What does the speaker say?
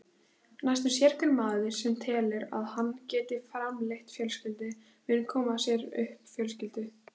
Næstum sérhver maður, sem telur að hann geti framfleytt fjölskyldu, mun koma sér upp fjölskyldu.